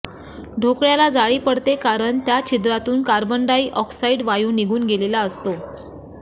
ढोकळ्याला जाळी पडते कारण त्या छिद्रातून कार्बन डाय ऑक्साईड वायू निघून गेलेला असतो